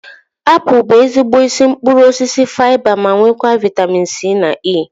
Apụl bụ ezigbo isi mkpụrụ osisi faiba ma nwekwa vaitamin C na E